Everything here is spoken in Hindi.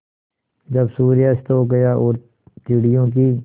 जब सूर्य अस्त हो गया और चिड़ियों की